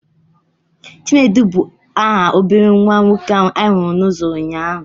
Chinedu bụ aha obere nwa nwoke ahụ anyị hụrụ n'uzo ụnyaahụ.